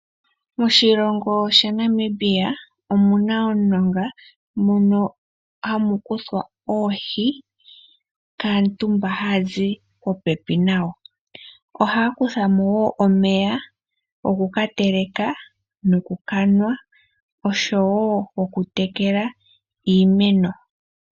Moshilongo shaNamibia omuna omulonga mono hamu kuthwa oohi kaantu mba haya zi popepi nago . Ohaya kutha mo woo omeya gokukateleka nokukanwa oshowo okutekela iimeno.